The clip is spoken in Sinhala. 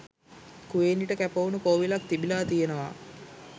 කුවේණිට කැපවුණු කෝවිලක් තිබිලා තියෙනවා